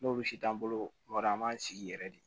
N'olu si t'an bolo mɔrɔ an b'an sigi yɛrɛ de